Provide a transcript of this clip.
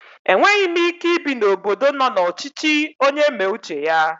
Enweghi m Ike ibi n'obodo nọ na ọchichi onye mee uche ya